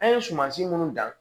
An ye sumansi minnu dan